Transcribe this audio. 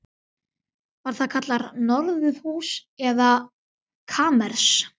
Var það kallað norðurhús eða kamers